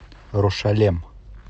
рошалем